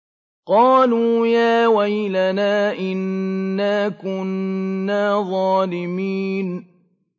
قَالُوا يَا وَيْلَنَا إِنَّا كُنَّا ظَالِمِينَ